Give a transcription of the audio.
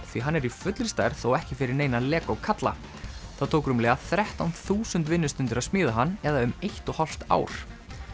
því hann er í fullri stærð og ekki fyrir neina kalla það tók rúmlega þrettán þúsund vinnustundir að smíða hann eða um eitt og hálft ár